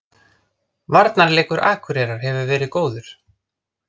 Varnarleikur Akureyrar hefur verið góður